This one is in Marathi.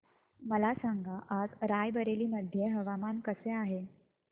मला सांगा आज राय बरेली मध्ये हवामान कसे आहे